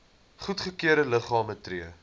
goedgekeurde liggame tree